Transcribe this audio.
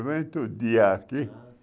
dia aqui. Ah sim